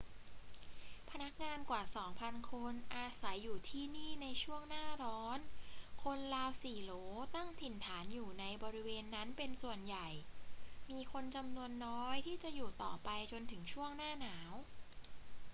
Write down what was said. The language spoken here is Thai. พนักงานกว่าสองพันคนอาศัยอยู่ที่นี่ในช่วงหน้าร้อน คนราว 4 โหลตั้งถิ่นฐานอยู่ในบริเวณนั้นเป็นส่วนใหญ่ มีคนจำนวนน้อยที่จะอยู่ต่อไปจนถึงช่วงหน้าหนาว